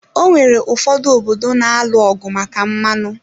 Onwere ụfọdụ obodo na-alụ ọgụ maka mmanụ